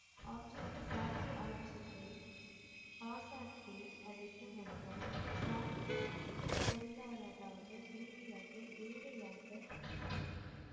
அழைத்து வந்தார் ராணி பொருளாதார ரீதியாக ஏழையாக